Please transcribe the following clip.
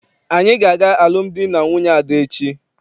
Anyị ga- aga alụmdi na nwunye Ada echi.